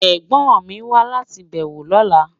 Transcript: Ẹ̀gbón mi ń wà láti bẹwọ́ lọ́lá.